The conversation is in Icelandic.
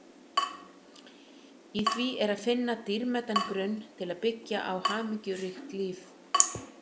Í því er að finna dýrmætan grunn til að byggja á hamingjuríkt líf.